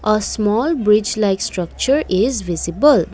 a small beach like structure is visible.